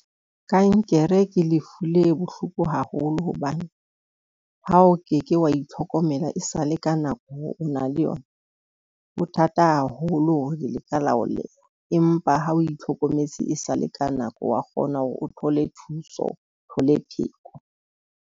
Kankere ke lefu le bohloko haholo. Hobane ha o keke wa itlhokomela e sale ka nako, o na le yona ho thata haholo le ka la empa ha o itlhokometse e sale ka nako wa kgona hore o thole thuso, o thole pheko.